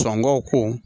Sɔngɔw ko